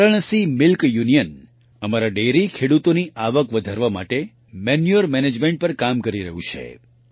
Varanasi milk union અમારા dairy ખેડૂતોની આવક વધારવા માટે મેન્યુર મેનેજમેન્ટ પર કામ કરી રહ્યું છે